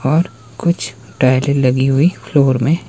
और कुछ टाइले लगी हुई फ्लोर में--